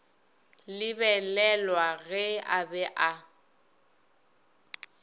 lebelelwa ge a be a